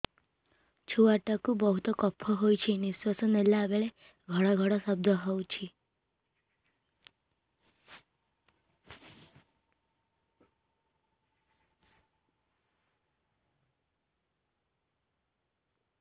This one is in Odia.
ଛୁଆ ଟା କୁ ବହୁତ କଫ ହୋଇଛି ନିଶ୍ୱାସ ନେଲା ବେଳେ ଘଡ ଘଡ ଶବ୍ଦ ହଉଛି